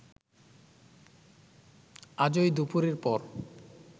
আজই দুপুরের পর